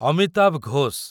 Amitabh Ghosh